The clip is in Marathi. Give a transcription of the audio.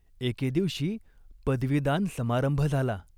एके दिवशी पदवीदान समारंभ झाला.